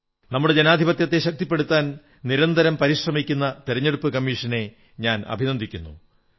നമ്മുടെ ജനാധിപത്യത്തെ ശക്തിപ്പെടുത്താൻ നിരന്തരം പരിശ്രമിക്കുന്ന തിരഞ്ഞെടുപ്പു കമ്മീഷനെ ഞാൻ അഭിനന്ദിക്കുന്നു